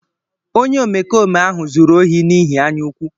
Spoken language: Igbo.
Onye omekome ahụ zuru ohi n’ihi anyaukwu.